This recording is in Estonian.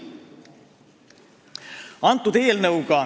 Mõned näited.